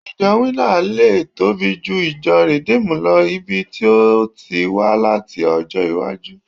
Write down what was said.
ijo winner lè tobi ju ìjọ redeemed lo lbi o ti wa lati ọjọ iwaju